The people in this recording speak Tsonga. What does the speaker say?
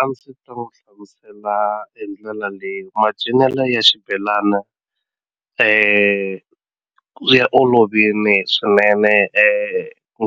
A ndzi ta n'wi hlamusela hi ndlela leyi macinelo ya xibelani ya olovile swinene